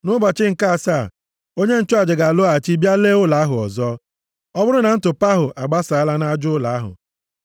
Nʼụbọchị nke asaa, onye nchụaja ga-alọghachi bịa lee ụlọ ahụ ọzọ. Ọ bụrụ na ntụpọ ahụ agbasaala nʼaja ụlọ ahụ,